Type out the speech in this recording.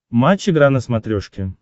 матч игра на смотрешке